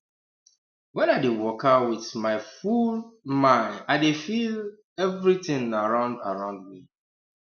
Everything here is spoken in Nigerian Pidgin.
when i dey waka with my full um mind i dey feel um everitin around around me